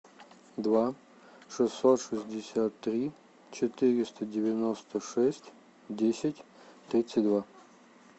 два шестьсот шестьдесят три четыреста девяносто шесть десять тридцать два